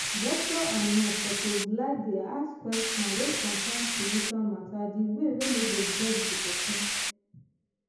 doctor and nurse suppose likedey ask question wey consain spiritual matter di way wey no go vex di pesin